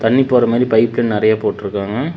தண்ணி போற மாரி பைப்பு நெரிய போட்டுருக்காங்க.